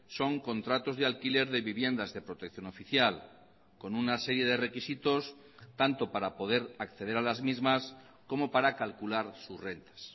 son contratos de alquiler de viviendas de protección oficial con una serie de requisitos tanto para poder acceder a las mismas como para calcular sus rentas